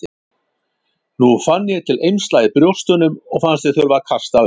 Nú fann ég til eymsla í brjóstunum og fannst ég þurfa að kasta upp.